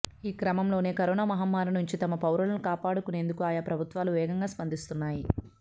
ఈ క్రమంలోనే కరోనా మహమ్మారి నుంచి తమ పౌరులను కాపాడుకునేందుకు ఆయా ప్రభుత్వాలు వేగంగా స్పందిస్తున్నాయి